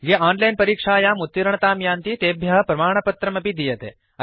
ये ओनलाइन् परीक्षायाम् उत्तीर्णतां यान्ति तेभ्य प्रमाणपत्रमपि दीयते